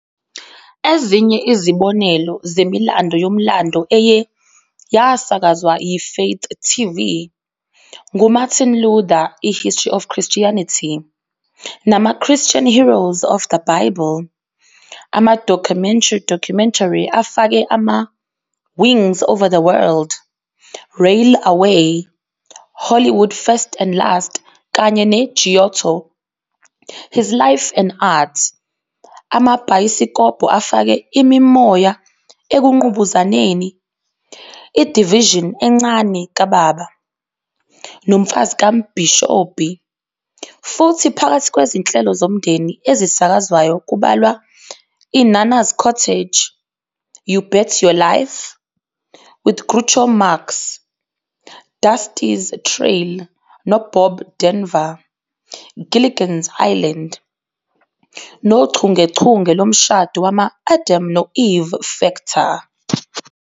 Ezinye izibonelo zemilando yomlando eye "yasakazwa yiFaith TV" "nguMartin Luther, iHistory of Christianity", "namaChristian Heroes of the Bible."Ama-documentary afake ama- "Wings over the World, Rail Away, Hollywood First and Last", kanye "neGiotto- His Life and Art."Amabhayisikobho afake "iMimoya ekungqubuzaneni, iDivision encane kababa", "noMfazi kaMbhishobhi."Futhi phakathi kwezinhlelo zomndeni ezisakazwayo kubalwa "iNanna's Cottage", "You Bet Your Life" with Groucho Marx, "Dusty's Trail" noBob Denver, Gilligan's Island, nochungechunge lomshado wama- "Adam no-Eve Factor."